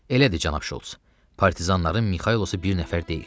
Elədir, cənab Şults, partizanların Mixaylosu bir nəfər deyil.